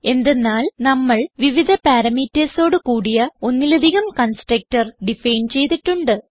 എന്തെന്നാൽ നമ്മൾ വിവിധ പാരാമീറ്റർസ് ഓട് കൂടിയ ഒന്നിലധികം കൺസ്ട്രക്ടർ ഡിഫൈൻ ചെയ്തിട്ടുണ്ട്